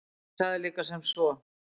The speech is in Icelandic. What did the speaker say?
Hann sagði líka sem svo: